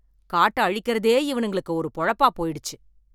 காட்ட அழிக்கிறதே இவனுங்களுக்கு ஒரு பொழப்பா போயிடுச்சு